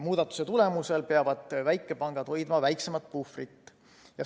Muudatuse tulemusel peavad väikepangad hoidma väiksemat puhvrit.